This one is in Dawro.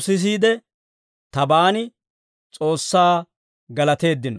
sisiide tabaan S'oossaa galateeddino.